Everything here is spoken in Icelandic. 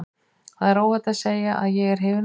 Það er óhætt að segja að ég er hrifinn af honum.